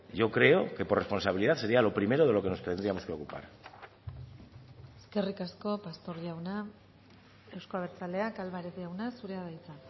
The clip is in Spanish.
yo creo que por responsabilidad sería lo primero de lo que nos tendríamos que ocupar eskerrik asko pastor jauna euzko abertzaleak álvarez jauna zurea da hitza